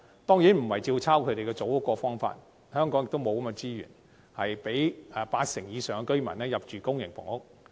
當然，我們並非照抄他們組屋的做法，香港本身亦不具備資源供八成以上居民入住公營房屋。